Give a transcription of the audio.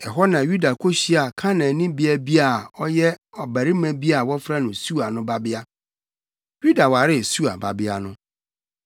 Ɛhɔ na Yuda kohyiaa Kanaanni beae bi a ɔyɛ ɔbarima bi a wɔfrɛ no Sua no babea. Yuda waree Sua babea no.